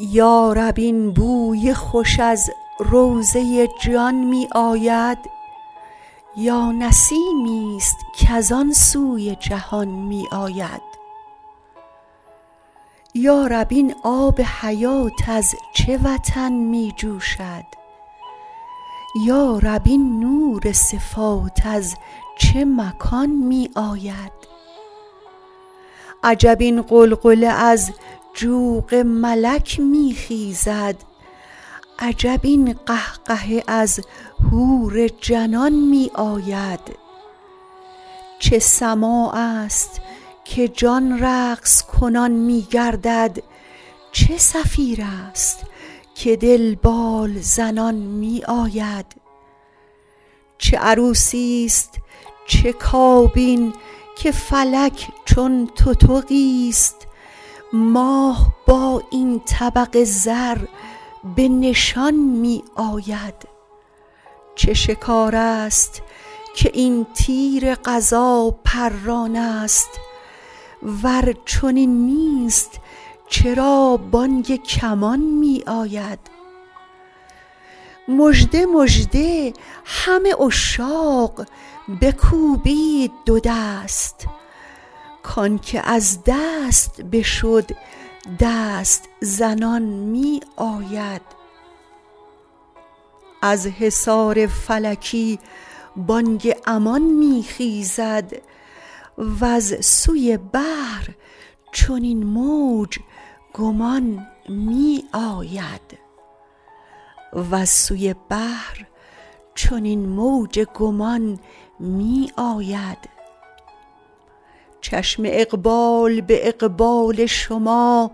یا رب این بوی خوش از روضه جان می آید یا نسیمیست کز آن سوی جهان می آید یا رب این آب حیات از چه وطن می جوشد یا رب این نور صفات از چه مکان می آید عجب این غلغله از جوق ملک می خیزد عجب این قهقهه از حور جنان می آید چه سماعست که جان رقص کنان می گردد چه صفیرست که دل بال زنان می آید چه عروسیست چه کابین که فلک چون تتقیست ماه با این طبق زر به نشان می آید چه شکارست که این تیر قضا پرانست ور چنین نیست چرا بانگ کمان می آید مژده مژده همه عشاق بکوبید دو دست کانک از دست بشد دست زنان می آید از حصار فلکی بانگ امان می خیزد وز سوی بحر چنین موج گمان می آید چشم اقبال به اقبال شما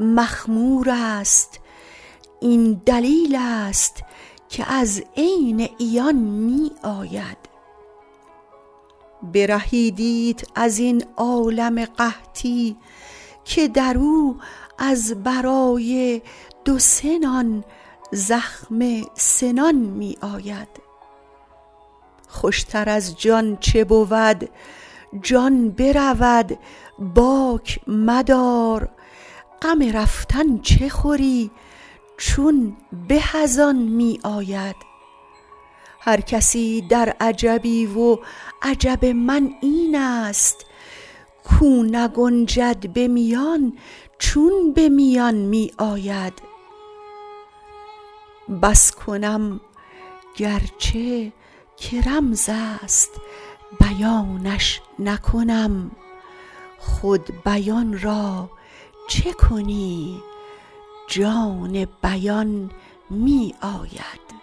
مخمورست این دلیلست که از عین عیان می آید برهیدیت از این عالم قحطی که در او از برای دو سه نان زخم سنان می آید خوشتر از جان چه بود جان برود باک مدار غم رفتن چه خوری چون به از آن می آید هر کسی در عجبی و عجب من اینست کو نگنجد به میان چون به میان می آید بس کنم گرچه که رمزست بیانش نکنم خود بیان را چه کنیم جان بیان می آید